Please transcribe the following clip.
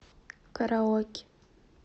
караоке